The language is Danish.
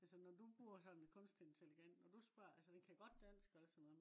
altså når du bruger sådan en kunstig intelligens når du spørg altså den kan godt dansk og alt sådan noget